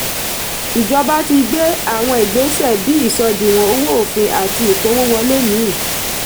ìjọba ti gbe àwọn ìgbésẹ̀ bí ìsọdìwọ̀n owó òfin àti ìpawo wọlé míì.